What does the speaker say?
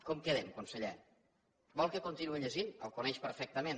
com quedem conseller vol que continuï llegint el coneix perfectament